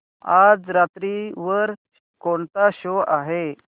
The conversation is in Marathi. आज रात्री वर कोणता शो आहे